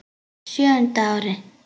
Á sjöunda ári